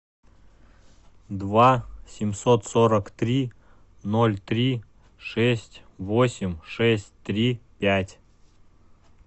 два семьсот сорок три ноль три шесть восемь шесть три пять